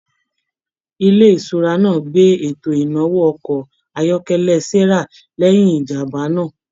ilé ìṣura náà gbé eto inawo ọkọ ayọkẹlẹ Sarah lẹyìn ìjàmbá náà.